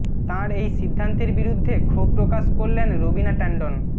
তাঁর এই সিদ্ধান্তের বিরুদ্ধে ক্ষোভ প্রকাশ করলেন রবিনা ট্যান্ডন